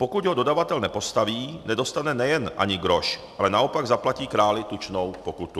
Pokud ho dodavatel nepostaví, nedostane nejen ani groš, ale naopak zaplatí králi tučnou pokutu.